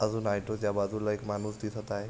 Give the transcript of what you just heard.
आणि ऑटोच्या बाजुला एक माणुस दिसत हाय.